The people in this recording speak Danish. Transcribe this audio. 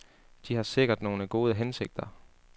De har sikkert nogle gode hensigter.